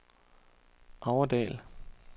Aurdal